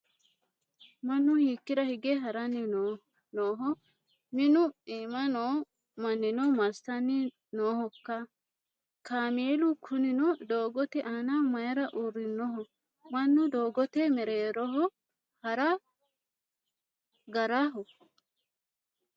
Mannu hiikkira hige haranni nooho? Minu iima noo mannino massanni noohokka? Kaamelu kunino doogote aana mayiira uurrinoho? Mannu doogote mereeroho hara garaho?